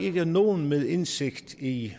ikke at nogen med indsigt i